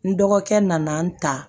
N dɔgɔkɛ nana n ta